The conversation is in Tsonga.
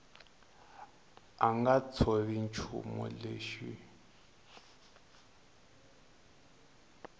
a nga tshovi nchumu lexi